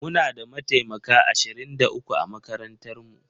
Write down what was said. Muna da mataimaka ashirin da uku a makarantar mu